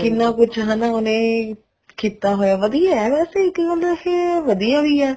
ਕਿੰਨਾ ਕੁੱਛ ਹਨਾ ਉਹਨੇ ਕੀਤਾ ਹੋਇਆ ਵਧੀਆ ਵੇਸੇ ਇੱਕ ਪਾਸੋਂ ਦੇਖੀਏ ਵਧੀਆ ਵੀ ਹੈ